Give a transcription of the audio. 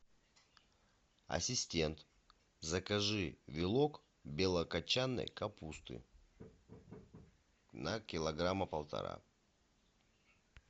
ассистент закажи вилок белокочанной капусты на килограмма полтора